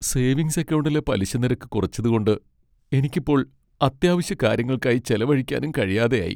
Savings അക്കൗണ്ടിലെ പലിശനിരക്ക് കുറച്ചതു കൊണ്ട് എനിക്കിപ്പോൾ അത്യാവശ്യകാര്യങ്ങൾക്കായി ചെലവഴിക്കാനും കഴിയാതെയായി.